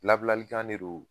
Labilali kan de don